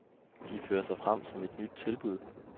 De fører sig frem som et nyt tilbud.